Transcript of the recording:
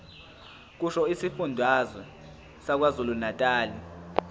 kusho isifundazwe sakwazulunatali